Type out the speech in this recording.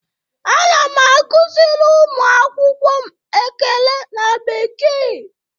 Ana m akụziri ụmụ akwụkwọ m ekele na bekee.